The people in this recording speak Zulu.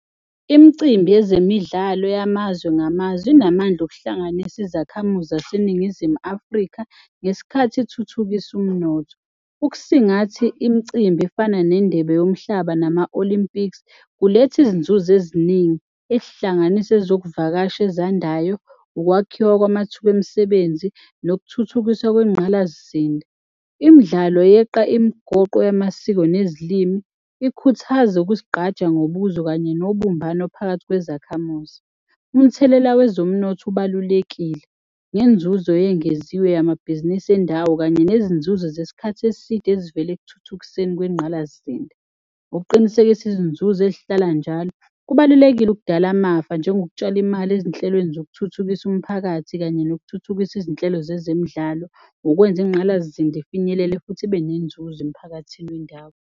Imicimbi yezemidlalo yamazwe ngamazwe inamandla okuhlanganisa izakhamuzi zaseNingizimu Afrika ngesikhathi ithuthukisa umnotho. Ukusingatha imicimbi efana neNdebe yoMhlaba nama-Olympics kulethu izinzuzo eziningi ezihlanganisa ezokuvakasha ezandayo, ukwakhiwa kwamathuba emisebenzi nokuthuthukiswa kwengqalasizinda. Imidlalo yeqa imigoqo yamasiko nezilimi, ikhuthaze ukuzigqaja ngobuzwe kanye nobumbano phakathi kwezakhamuzi. Umthelela wezomnotho ubalulekile ngenzuzo eyengeziwe yamabhizinisi endawo kanye nezinzuzo zesikhathi eside ezivele ekuthuthukiseni kwengqalasizinda ngokuqinisekisa izinzuzo ezihlala njalo kubalulekile ukudala amafa njengokutshala imali ezinhlelweni zokuthuthukisa umphakathi kanye nokuthuthukisa izinhlelo zezemidlalo ngokwenza ingqalasizinda ifinyelele futhi ibe nenzuzo emphakathini wendawo.